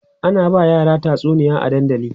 ana ba yara tatsuniya a dandali